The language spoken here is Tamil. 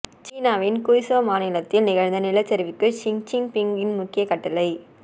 சீனாவின் கூய்சோ மாநிலத்தில் நிகழ்ந்த நிலச்சரிவுக்கு ஷி ச்சின்பிங்கின் முக்கிய கட்டளை